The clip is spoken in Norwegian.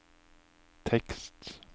tekst